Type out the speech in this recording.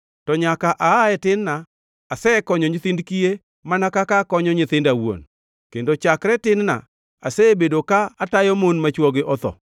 to nyaka aa e tin-na asekonyo nyithind kiye mana kaka akonyo nyithinda awuon, kendo chakre tin-na asebedo ka atayo mon ma chwogi otho.